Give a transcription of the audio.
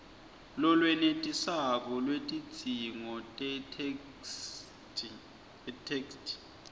lolwenetisako lwetidzingo tetheksthi